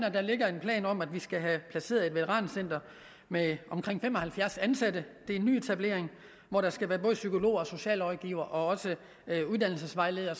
at der ligger en plan om at vi skal have placeret et veterancenter med omkring fem og halvfjerds ansatte det er en nyetablering hvor der skal være både psykologer og socialrådgivere og uddannelsesvejledere